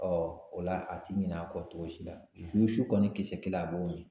o la a ti ɲinɛ a kɔ cogo si la . Ni su kɔni kisɛ kelen a b'o ye.